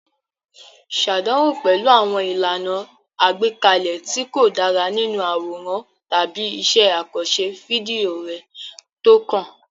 Ṣàdánwò pẹ̀lú àwọn ìlànà àgbékalẹ̀ tí kò dára nínú àwòrán tàbí iṣẹ́ àkànṣe fídíò rẹ tó kàn.